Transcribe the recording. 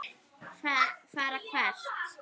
Fara hvert?